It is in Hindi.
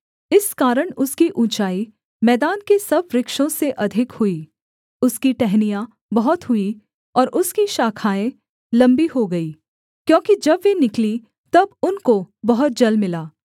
इस कारण उसकी ऊँचाई मैदान के सब वृक्षों से अधिक हुई उसकी टहनियाँ बहुत हुईं और उसकी शाखाएँ लम्बी हो गई क्योंकि जब वे निकलीं तब उनको बहुत जल मिला